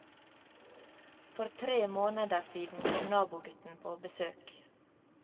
For tre måneder siden kom nabogutten på besøk.